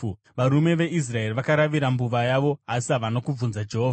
Varume veIsraeri vakaravira mbuva yavo asi havana kubvunza Jehovha.